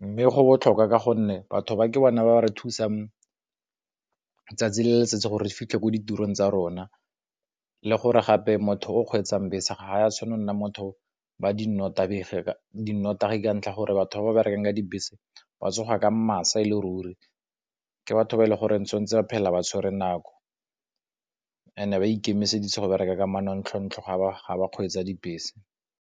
Mme go botlhokwa ka gonne batho ba ke bona ba re thusang tsatsi le letsatsi gore fitlhe ko ditirong tsa rona le gore gape motho o kgweetsang bese ga di tshwane go nna motho ba di nnotagi ka ntlha gore batho ba ba berekang ka dibese se ba tsoga ka masa e le ruri, ke batho ba e le goreng tshwantse ba phela ba tshwere nako, and ba ikemiseditse go bereka ka manontlhotlho ga ba kgweetsa dibese.